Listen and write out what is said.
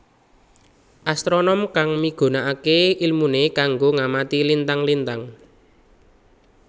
Astronom kang migunakaké ilmuné kanggo ngamati lintang lintang